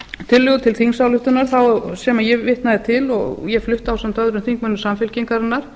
tillögu til þingsályktunar sem ég vitnaði til og ég flutti ásamt öðrum þingmönnum samfylkingarinnar